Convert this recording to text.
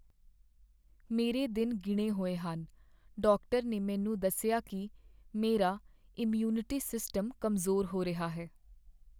ਮੇਰੇ ਦਿਨ ਗਿਣੇ ਹੋਏ ਹਨ। ਡਾਕਟਰ ਨੇ ਮੈਨੂੰ ਦੱਸਿਆ ਕੀ ਮੇਰਾ ਇਮਿਊਨਿਟੀ ਸਿਸਟਮ ਕਮਜ਼ੋਰ ਹੋ ਰਿਹਾ ਹੈ।